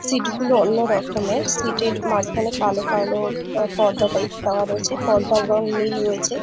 Seat গুলো অন্য রকমেরসিটের মাঝখানে কালো কালো পর্দা টাইপ করা রয়েছে পর্দার রং নীল রয়েছে ।